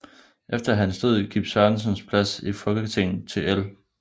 Efter hans død gik Sørensens plads i Folketinget gik til L